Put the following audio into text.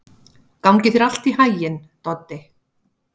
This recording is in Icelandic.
Gangi þér allt í haginn, Doddi.